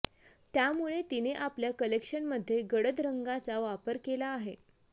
त्यामुळे तिने आपल्या कलेक्शनमध्ये गडद रंगाचा वापर केला आहे